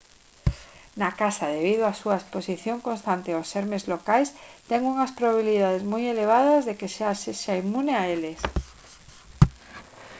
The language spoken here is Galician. na casa debido á súa exposición constante aos xermes locais ten unhas probabilidades moi elevadas de que xa sexa inmune a eles